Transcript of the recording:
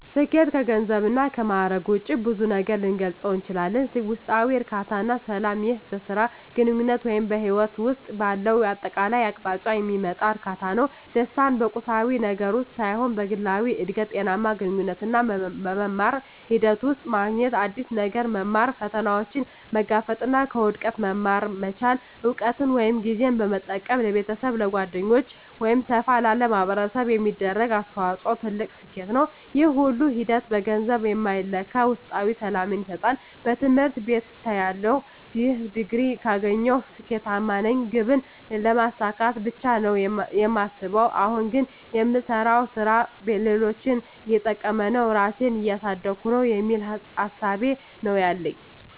ስኬት ከገንዘብ እና ከማእረግ ውጭ በብዙ ነገር ልገልፀው እችላልሁ። ውስጣዊ እርካታ እና ሰላም ይህ በሥራ፣ በግንኙነት ወይም በሕይወት ውስጥ ባለው አጠቃላይ አቅጣጫ የሚመጣ እርካታ ነው። ደስታን በቁሳዊ ነገር ውስጥ ሳይሆን በግላዊ እድገት፣ ጤናማ ግንኙነቶች እና በመማር ሂደት ውስጥ ማግኘት። አዲስ ነገር መማር፣ ፈተናዎችን መጋፈጥ እና ከውድቀት መማር መቻል። እውቀትን ወይም ጊዜን በመጠቀም ለቤተሰብ፣ ለጓደኞች ወይም ሰፋ ላለ ማኅበረሰብ የሚደረግ አስተዋጽኦ ትልቅ ስኬት ነው። ይህ ሁሉ ሂደት በገንዘብ የማይለካ ውስጣዊ ሰላምን ይሰጣል። በትምህርት ቤትተያለሁ "ይህን ዲግሪ ካገኘሁ ስኬታማ ነኝ" ግብን ስለማሳካት ብቻ ነው የማስበው። አሁን ግን "የምሰራው ሥራ ሌሎችን እየጠቀመ ነው? ራሴን እያሳደግኩ ነው?" የሚል እሳቤ ነው ያለኝ።